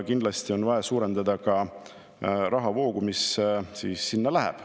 Kindlasti on vaja suurendada ka rahavoogu, mis sinna läheb.